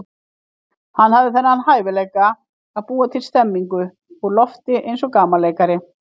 Hann hafði þennan hæfileika að búa til stemmningu úr lofti eins og gamanleikari.